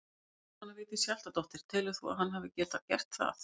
Jóhanna Vigdís Hjaltadóttir: Telur þú að hann hefði getað gert það?